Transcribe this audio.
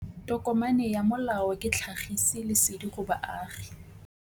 Tokomane ya molao ke tlhagisi lesedi go baagi.